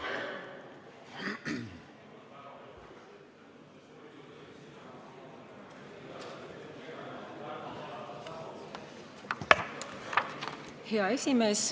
Hea juhataja!